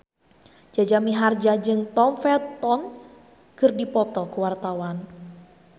Jaja Mihardja jeung Tom Felton keur dipoto ku wartawan